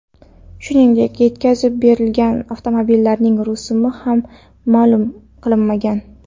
Shuningdek, yetkazib berilgan avtomobillarning rusumi ham ma’lum qilinmagan.